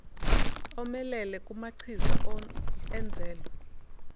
omelele kunamachiza enzelwe